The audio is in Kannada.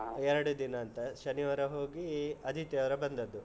ಎರಡು ದಿನ ಅಂತ, ಶನಿವಾರ ಹೋಗಿ ಆದಿತ್ಯವಾರ ಬಂದದ್ದು.